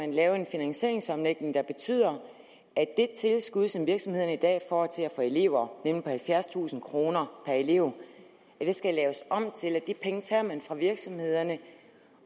at lave en finansieringsomlægning der betyder at det tilskud som virksomhederne i dag får til at få elever nemlig på halvfjerdstusind kroner per elev skal laves om til at de penge tager man fra virksomhederne